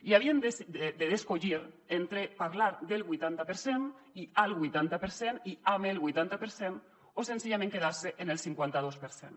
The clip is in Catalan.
i havien d’escollir entre parlar del vuitanta per cent i al vuitanta per cent i amb el vuitanta per cent o senzillament quedar se en el cinquanta dos per cent